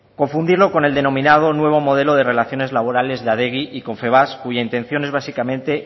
confundirlo con el denominado nuevo modelo de relaciones laborales de adegi y confebask cuya intención es básicamente